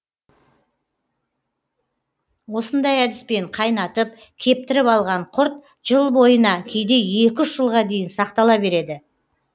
осындай әдіспен қайнатып кептіріп алған құрт жыл бойына кейде екі үш жылға дейін сақтала береді